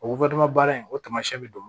O baara in o taamasiyɛn bɛ don